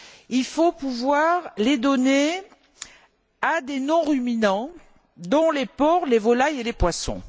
il faut pouvoir les donner à des non ruminants dont les porcs, les volailles et les poissons.